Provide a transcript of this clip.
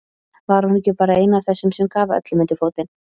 Var hún ekki bara ein af þessum sem gaf öllum undir fótinn.